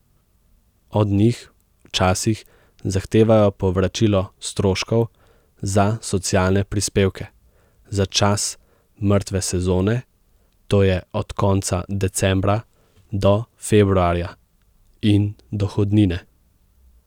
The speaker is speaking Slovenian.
Od njih včasih zahtevajo povračilo stroškov za socialne prispevke za čas mrtve sezone, to je od konca decembra do februarja, in dohodnine.